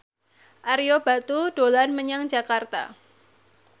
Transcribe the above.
Ario Batu dolan menyang Jakarta